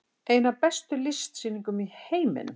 Ein af bestu listsýningum í heiminum